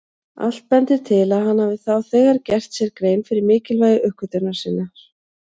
Allt bendir til að hann hafi þá þegar gert sér grein fyrir mikilvægi uppgötvunar sinnar.